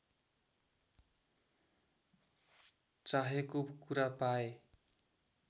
चाहेको कुरा पाए